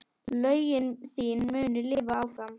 Lögin þín munu lifa áfram.